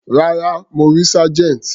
Rárá, mo rí Sergeant.